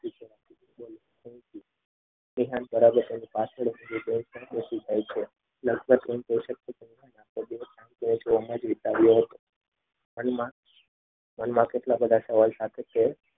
મનમાં કેટલા બધા સવાલ સાથે તે